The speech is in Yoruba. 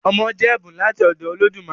Ọmọ jẹ́ ẹ̀bùn láti ọ̀dọ̀ Olódùmarè